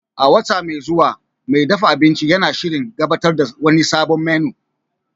A wata mai zuwa, mai dafa abinci yana shirin gabatar da wani sabon menu